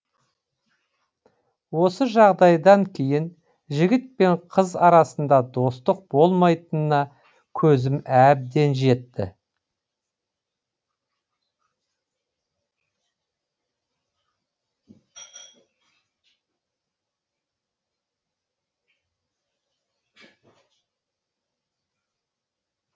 осы жағдайдан кейін жігіт пен қыз арасында достық болмайтынына көзім әбден жетті